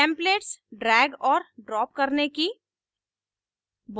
templates drag और drop करने की